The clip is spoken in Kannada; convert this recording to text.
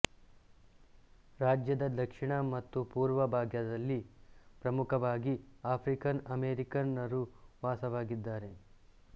ರಾಜ್ಯದ ದಕ್ಷಿಣ ಮತ್ತು ಪೂರ್ವ ಭಾಗದಲ್ಲಿ ಪ್ರಮುಖವಾಗಿ ಆಫ್ರಿಕನ್ ಅಮೆರಿಕನ್ ರು ವಾಸವಾಗಿದ್ದಾರೆ